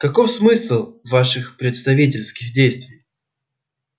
каков смысл ваших представительских действий